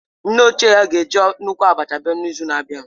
Nne ochie ya ga-eji nnukwu abacha abịa n'izu na-abịa